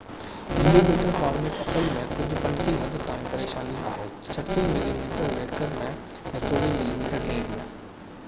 35 millimetre format اصل ۾ ڪجهہ حد تائين پريشاني آهي 36 ملي ميٽر ويڪر ۾۽ 24 ملي ميٽر ڊيگهہ ۾